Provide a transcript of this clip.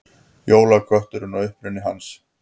Jólakötturinn og uppruni hans.